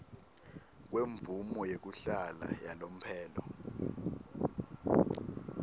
kwemvumo yekuhlala yalomphelo